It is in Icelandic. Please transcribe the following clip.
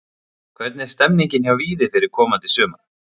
Hvernig er stemningin hjá Víði fyrir komandi sumar?